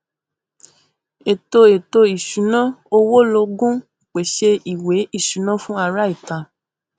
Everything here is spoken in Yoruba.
ètò ètò ìṣúná owó lógún pèsè ìwé ìṣúná fún ará ìta